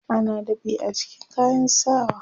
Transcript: ana dab'i a jikin kayan sawa